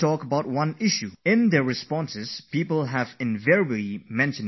I see that in the experiences that people have shared with me, they have spoken a lot about Yoga